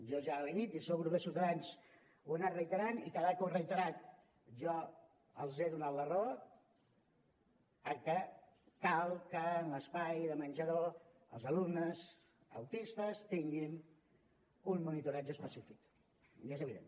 jo ja ho he dit i això el grup de ciutadans ho ha anat reiterant i cada vegada que ho ha reiterat jo els he donat la raó cal que en l’espai de menjador els alumnes autistes tinguin un monitoratge específic és evident